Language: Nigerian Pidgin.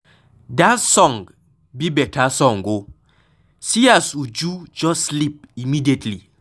Dat song be beta song oo, see as Uju just sleep immediately.